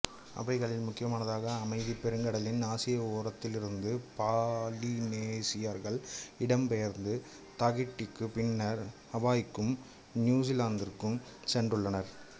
அவைகளில் முக்கியமானதாக அமைதிப் பெருங்கடலின் ஆசிய ஓரத்திலிருந்து பாலினேசியர்கள் இடம்பெயர்ந்து தாகிட்டிக்கும் பின்னர் ஹவாய்க்கும் நியுஸிலாந்துக்கும் சென்றுள்ளனர்